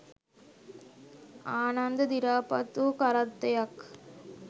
ආනන්ද දිරාපත් වූ කරත්තයක්